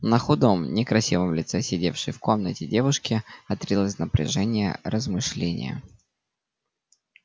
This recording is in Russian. на худом некрасивом лице сидевшей в комнате девушки отразилось напряжённое размышление